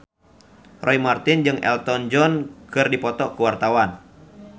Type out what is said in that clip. Roy Marten jeung Elton John keur dipoto ku wartawan